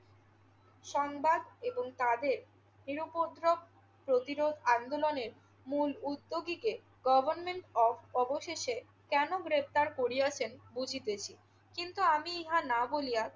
সংবাদ এবং তাদের নিরুপদ্র প্রতিরোধ আন্দোলনের মূল উদ্যোগীকে গভর্নমন্ট কফ অবশেষে কেন গ্রেফতার করিয়াছেন বুঝিতেছি। কিন্তু আমি ইহা না বলিয়া